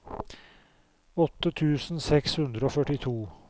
åtte tusen seks hundre og førtito